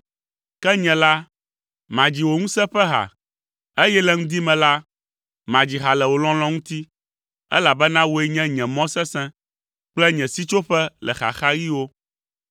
Ke nye la, madzi wò ŋusẽ ƒe ha, eye le ŋdi me la, madzi ha le wò lɔlɔ̃ ŋuti, elabena wòe nye nye mɔ sesẽ, kple nye sitsoƒe le xaxaɣiwo.